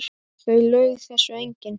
Það laug þessu enginn.